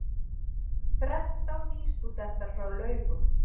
Þrettán nýstúdentar frá Laugum